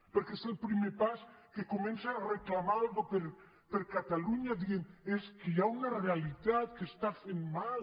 perquè és el primer pas que comença a reclamar alguna cosa per a catalunya dient és que hi ha una realitat que està fent mal